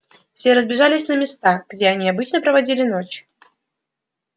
все разбежались на места где они обычно проводили ночь